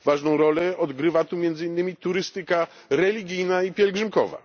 Ważną rolę odgrywa tu między innymi turystyka religijna i pielgrzymkowa.